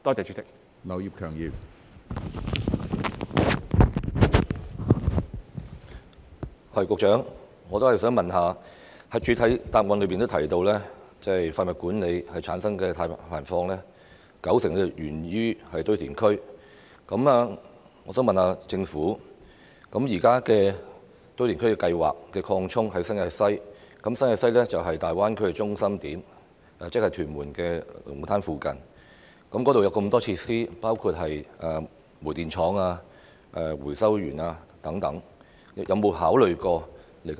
主席，我想問局長，他在主體答覆提到，廢物管理產生的碳排放有高達九成源自堆填區，我想問政府，現時正進行新界西堆填區擴展計劃，而新界西是大灣區的中心點，即屯門龍鼓灘附近，該處有很多設施，包括煤電廠、回收園等。